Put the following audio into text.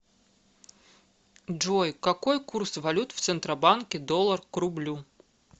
джой какой курс валют в центробанке доллар к рублю